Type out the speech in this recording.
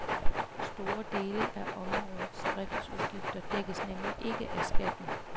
Store dele af områdets driftsudgifter dækkes nemlig ikke af skatten.